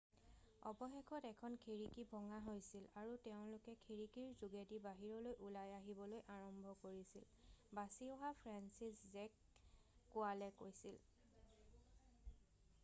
অৱশেষত এখন খিৰিকি ভঙা হৈছিল আৰু তেওঁলোকে খিৰিকিৰ যোগেদি বাহিৰলৈ ওলাই আহিবলৈ আৰম্ভ কৰিছিল বাছি অহা ফ্ৰেন্সিছজেক কোৱালে কৈছিল